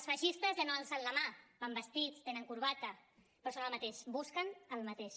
els feixistes ja no alcen la mà van vestits tenen corbata però són el mateix busquen el mateix